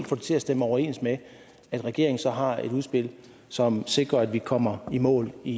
få det til at stemme overens med at regeringen så har et udspil som sikrer at vi kommer i mål i